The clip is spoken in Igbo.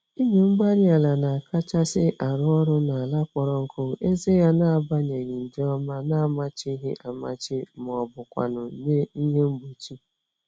Igwe-mgbárí-ala na-akachasị arụ ọrụ n'ala kpọrọ nkụ, eze ya nabanye nje ọma namachighị-amachi mọbụkwanụ̀ nye ihe mgbochi